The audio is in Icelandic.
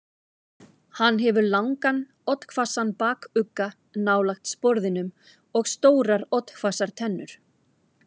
Hann hefur langan, oddhvassan bakugga nálægt sporðinum og stórar oddhvassar tennur.